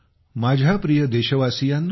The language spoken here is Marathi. माझ्या प्रिय देशवासियांनो